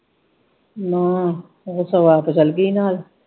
ਨਾਂਹ ਉਹ ਸਗੋ ਆਪ ਚੱਲਗੀ ਨਾਲ।